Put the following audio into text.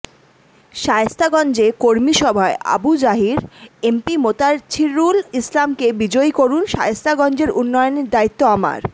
শায়েস্তাগঞ্জে কর্মী সভায় আবু জাহির এমপি মোতাচ্ছিরুল ইসলামকে বিজয়ী করুন শায়েস্তাগঞ্জের উন্নয়নের দায়িত্ব আমার